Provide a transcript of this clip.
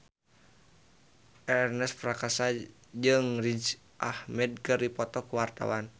Ernest Prakasa jeung Riz Ahmed keur dipoto ku wartawan